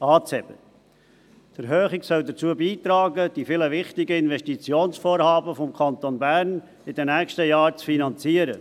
Die Erhöhung soll dazu beitragen, die vielen wichtigen Investitionsvorhaben des Kantons Bern in den nächsten Jahren zu finanzieren.